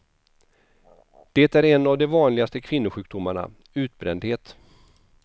Det är en av de vanligaste kvinnosjukdomarna, utbrändhet.